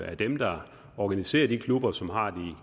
er dem der organiserer de klubber som har de